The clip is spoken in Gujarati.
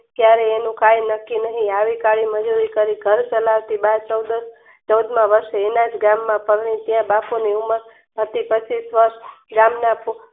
કયારે એનું કય નકકી નહિ આવી ઘર ચલાવતી બાર ચૌદમા વર્ષે વિલાયત ગામમાં